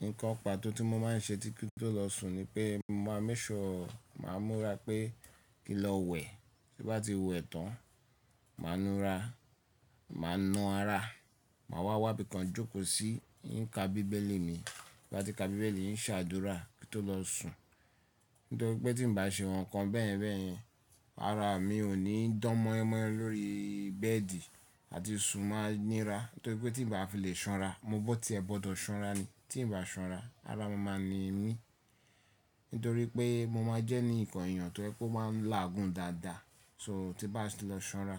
Nǹkan pàtó tí mo máa ń ṣe kí tó lọ sùn ni pé mo máa ń máke súré màá múra pé kí ń lọ wẹ̀, tí bá ti wẹ̀ tán, màá nu ra, màá nu ara, màá wá wà bí i kan jókòó í í ka bíbélì mi, bá ti ka bíbélì yín ń ṣàdúrà kí tó lọ sùn. Nítorí pé tí n ba ṣe nǹkan bẹ́yẹ̀n bẹ́ẹ̀ yẹn ara mi ò ní dán mọ́yemọ́yẹ lórí bẹ́ẹ̀dì àti sùn máa nira. Nítorí pé tí n ba fi lè ṣanra, mo bọ̀ pé tí ẹ gbọdọ̀ ṣanra ni. Tí n ba ṣanra ara máa n ni mí. Nítorí pé mo máa jẹ́ ní nǹkan èèyàn tó ẹ pé ó máa lágùn dáadáa. So tí bá ti lọ ṣanra